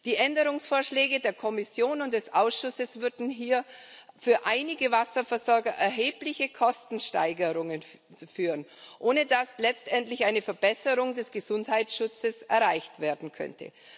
Die Änderungsvorschläge der Kommission und des Ausschusses würden hier für einige Wasserversorger zu erheblichen Kostensteigerungen führen, ohne dass letztendlich eine Verbesserung des Gesundheitsschutzes erreicht werden könnte.